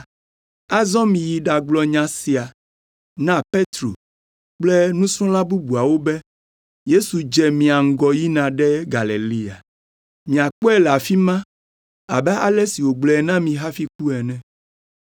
Azɔ miyi ɖagblɔ nya sia na Petro kple nusrɔ̃la bubuawo be: ‘Yesu dze mia ŋgɔ yina ɖe Galilea. Miakpɔe le afi ma abe ale si wògblɔe na mi hafi ku ene.’ ”